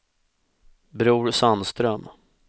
Bror Sandström